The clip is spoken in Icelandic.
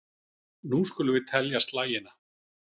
Nú skulum við telja slagina.